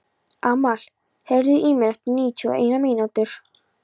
Amal, heyrðu í mér eftir níutíu og eina mínútur.